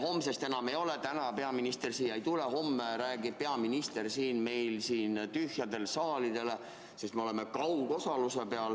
Noh, ma saan aru, et täna peaminister siia ei tule ja homme räägib peaminister siin tühjale saalile, sest me oleme üle läinud kaugosalusele.